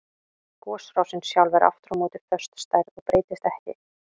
Gosrásin sjálf er aftur á móti föst stærð og breytist ekki.